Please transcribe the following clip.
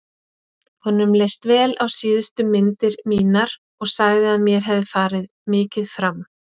Honum leist vel á síðustu myndir mínar og sagði að mér hefði farið mikið fram.